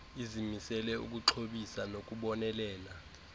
izimisele ukuxhobisa nokubonelela